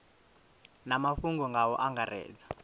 na mafhungo nga u angaredza